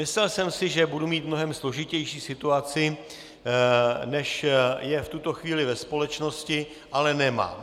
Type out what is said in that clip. Myslel jsem si, že budu mít mnohem složitější situaci, než je v tuto chvíli ve společnosti, ale nemám.